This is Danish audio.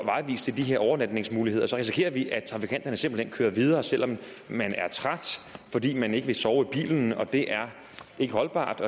vejvist til de her overnatningsmuligheder risikerer vi at trafikanterne simpelt hen kører videre selv om man er træt fordi man ikke vil sove i bilen og det er ikke holdbart